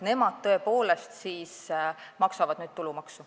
Nemad tõepoolest maksavad nüüd tulumaksu.